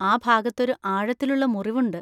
ആ ഭാഗത്തൊരു ആഴത്തിലുള്ള മുറിവുണ്ട്.